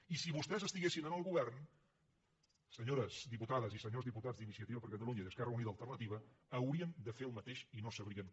i si vostès estiguessin en el govern senyores diputades i senyors diputats d’iniciativa per catalunya i esquerra unida i alternativa haurien de fer el mateix i no sabrien com